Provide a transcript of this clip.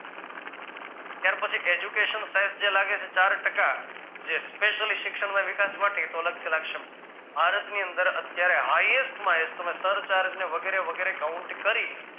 ત્યાર પછી education charge જે લાગે છે ચાર ટકા જે specially શિક્ષણ ને વિકાસ માટે તો એ તો અલગથી લાગશે ભારતની અંદર અત્યારે hightest માં hightest સરચાર્જ ને વગેરે વગેરે count કરી